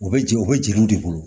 U bɛ ji u bɛ jiriw de bolo